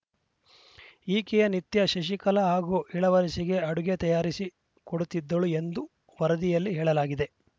ಈಕೆಯೇ ನಿತ್ಯ ಶಶಿಕಲಾ ಹಾಗೂ ಇಳವರಸಿಗೆ ಅಡುಗೆ ತಯಾರಿಸಿ ಕೊಡುತ್ತಿದ್ದಳು ಎಂದು ವರದಿಯಲ್ಲಿ ಹೇಳಲಾಗಿದೆ